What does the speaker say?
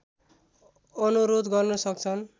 अनुरोध गर्न सक्छन्